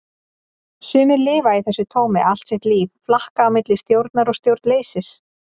Sumir lifa í þessu tómi allt sitt líf, flakka á milli stjórnar og stjórnleysis.